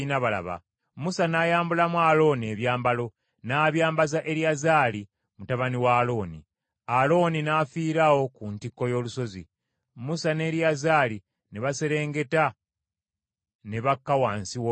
Musa n’ayambulamu Alooni ebyambalo, n’abyambaza Eriyazaali mutabani wa Alooni. Alooni n’afiira awo ku ntikko y’olusozi. Musa ne Eriyazaali ne baserengeta ne bakka wansi w’olusozi.